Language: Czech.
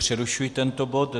Přerušuji tento bod.